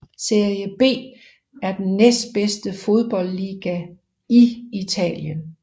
Serie B er den næstbedste fodboldliga i Italien